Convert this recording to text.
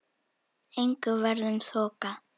Engu varð um þokað.